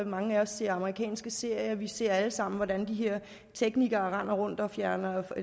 mange ser amerikanske tv serier og vi ser alle sammen hvordan de her teknikere render rundt og finder